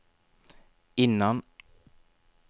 innan